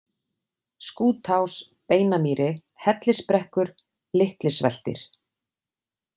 Skútás, Beinamýri, Hellisbrekkur, Litli-Sveltir